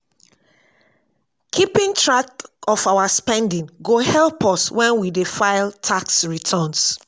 keeping track of our spending go help us wen we dey fil tax returns